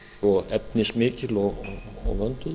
svo efnismikil og vönduð